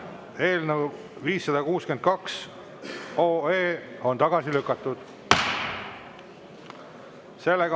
Eelnõu 562 on tagasi lükatud.